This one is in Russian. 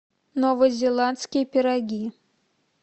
новозеландские пироги